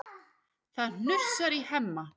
Það hnussar í Hemma.